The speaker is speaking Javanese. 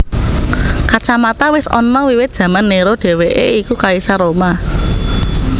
Kacamata wis ana wiwit jaman Néro dhéwéké iku kaisar Roma